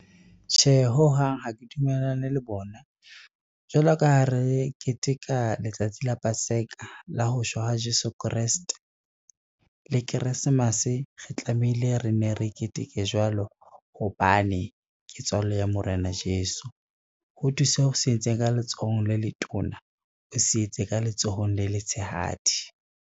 Tjhe, ho hang ha ke dumellane le bona. Jwalo ka ha re keteka letsatsi la paseka la ho shwa ha Jeso Kreste, le keresemase re tlamehile re ne re keteke jwalo hobane ke tswalo ya Morena Jeso. Ho thwe se o se etsang ka letsohong le letona, o se etse le ka letsohong le letshehadi.